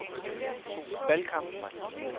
valgkampen